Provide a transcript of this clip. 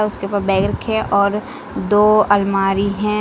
उसके ऊपर बैग रखे हैं और दो अलमारी हैं।